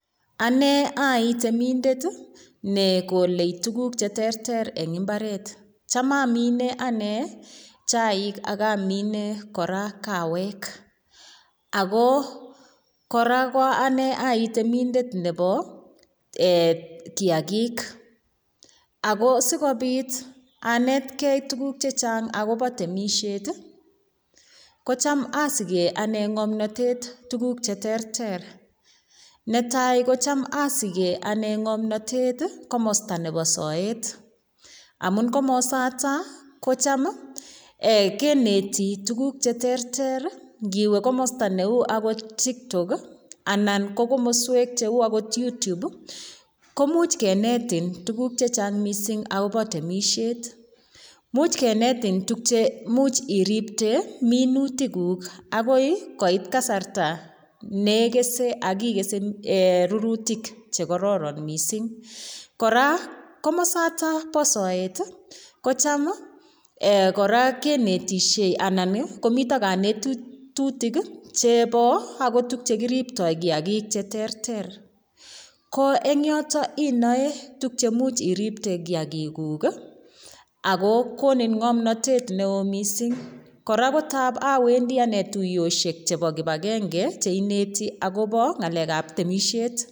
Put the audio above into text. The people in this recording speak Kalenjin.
Ane ooi temindet negole tuguk cheterter en mbaret , cham omine ane chaik akomine kawek ago kora oi temindet nebo kiagik ako sikobit anetkei tuguk chechang' agobo temisiet ii, kocham asiken ane ng'omnotet tuguk cheterter . Netai kocham osiken ane ng'omnotet komosto nebo soet amun komosoto kocham eee kineti tuguk cheterter indiwe komosto neu tiktok anan ko komoswek cheu ogot youtube komuch kenetin tuguk chechang' missing' agobo temisiet. Imuch kenetin tuguk che imuch iripte minutikuk akoi koit kasarta nekese ak kese rurutik chekororin missing'. Kora komosoto bo soet kocham kora kinetisie anan ii komiten konetutik chebo tuguk akot chekiripto kiakik cheterter ko en yoton inoe cheimuch iripte kiakiguk ii ago konin ng'omnotet neo missing'. Kora kotab owendi ane tuyosiek chebo kipagenge cheineti agobo temisiet.